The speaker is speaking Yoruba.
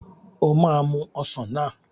O máa mu ọsàn náà.